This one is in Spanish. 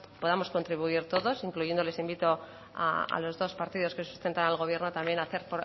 podamos contribuir todos incluyendo les invito a los dos partidos que sustentan al gobierno también a hacer